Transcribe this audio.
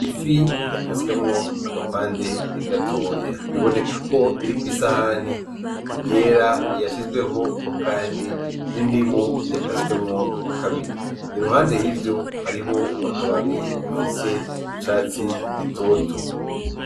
Ifi yakaswemwo agapande gatoya bibonekako iri kw'isahani yera yashizweho Kandi n'indimu yakaswemwo kabiri iruhande yivyo hari akababi gafise icatsi gitoto.